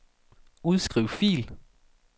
Udskriv fil.